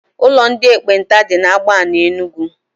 Ụlọ ndị ekpenta dị na Agbani Enugu.